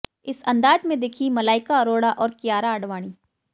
इस अंदाज़ में दिखीं मलाइका अरोड़ा और कियारा आडवाणी